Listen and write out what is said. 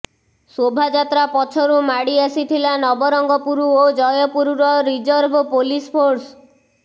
ଶୋଭାଯାତ୍ରା ପଛରୁ ମାଡ଼ି ଆସିଥିଲା ନବରଙ୍ଗପୁର ଓ ଜୟପୁରର ରିଜର୍ଭ ପୁଲିସ ଫୋର୍ସ